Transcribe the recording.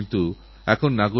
এটাকতবড় শক্তির কথা